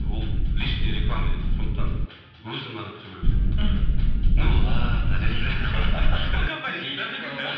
ол личный реклама дейді сондықтан өзің ғана түсу керексің мхм